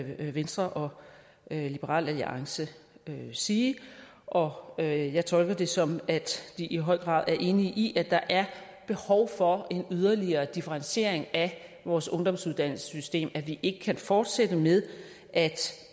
venstre og liberal alliance sige og og jeg tolker det sådan at de i høj grad er enige i at der er behov for en yderligere differentiering af vores ungdomsuddannelsessystem og at vi ikke kan fortsætte med at